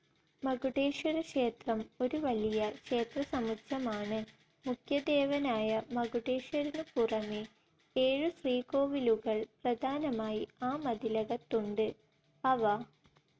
മകുടേശ്വരക്ഷേത്രം ഒരു വലിയ ക്ഷേത്രസമുച്ചയമാണ്. മുഖ്യദേവനായ മകുടേശ്വരനുപുറമേ ഏഴു ശ്രീകോവിലുകൾ പ്രധാനമായി ആ മതിലകത്തുണ്ട്. അവ